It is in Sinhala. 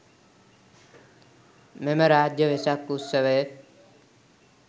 මෙම රාජ්‍ය වෙසක් උත්සවය